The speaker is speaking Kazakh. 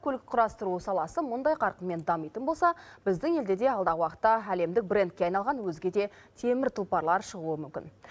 көлік құрастыру саласы мұндай қарқынмен дамитын болса біздің елде де алдағы уақытта әлемдік брендке айналған өзге де темір тұлпарлар шығуы мүмкін